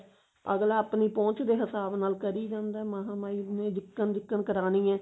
ਅਗਲਾ ਆਪਣੀ ਪਹੁੰਚ ਦੇ ਹਿਸਾਬ ਨਾਲ ਕਰੀ ਜਾਂਦਾ ਮਹਾ ਮਾਈ ਨੇ ਜਿੱਕ੍ਮ ਜਿੱਕ੍ਮ ਕਰਾਣੀ ਹੈ